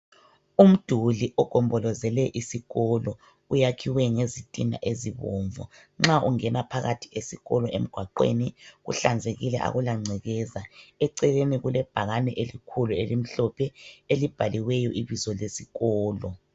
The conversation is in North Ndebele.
Umduli ogombolezele isikolo, uyakiwe ngezithina ezibomvu. Nxa ungena phakathi esikolo emgwaqweni kuhlanzekile akula gcwekeza. Eceleni kulebhakani elikhulu elimhlophe libhaliweyo ibizo lesikholo.